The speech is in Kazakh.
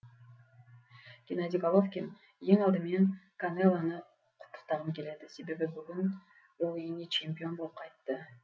геннадий головкин ең алдымен канелоны құттықтағым келеді себебі бүгін ол үйіне чемпион болып қайтты